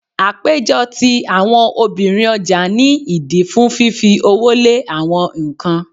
Àpéjọ ti àwọn obìnrin ọjà ní ìdí fún fífi owó lé awọn nǹkan.